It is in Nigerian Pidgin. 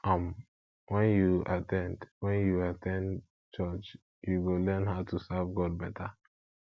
um wen yu at ten d wen yu at ten d church yu go learn how to serve god beta